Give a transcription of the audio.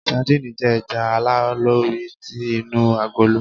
Sadíìnì jẹ́ ẹja aláìlórí ti inú agolo.